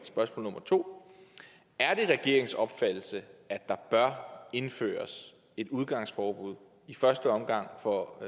spørgsmål nummer 2 er det regeringens opfattelse at der bør indføres et udgangsforbud i første omgang for